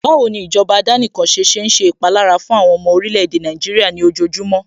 Báwo ni ìjọba àdánìkanṣe ṣe ń ṣe ìpalára fún àwọn ọmọ orílè-èdè Nàìjíríà ní ojojúmọ́